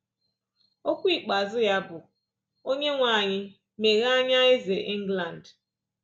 Okwu ikpeazụ ya bụ: “Onyenwe anyị, meghee anya Eze England!”